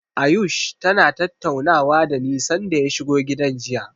Ayush tana tattaunawa dani sanda ya shigo gidan jiya.